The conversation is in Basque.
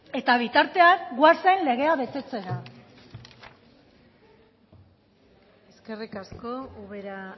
eta bitartean goazen legea betetzera eskerrik asko ubera